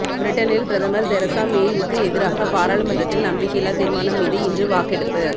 பிரிட்டனில் பிரதமர் தெரசா மேயுக்கு எதிராக பாராளுமன்றத்தில் நம்பிக்கையில்லா தீர்மானம் மீது இன்று வாக்கெடுப்பு